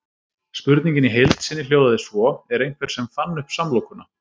Spurningin í heild sinni hljóðaði svo: Er einhver sem fann upp samlokuna?